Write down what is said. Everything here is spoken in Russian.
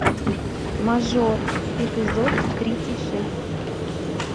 мажор эпизод тридцать шесть